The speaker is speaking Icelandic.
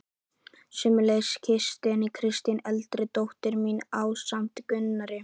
Sömuleiðis gisti Kristín eldri dóttir mín ásamt Gunnari